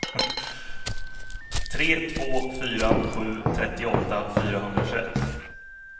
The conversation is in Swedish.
tre två fyra sju trettioåtta fyrahundratjugoett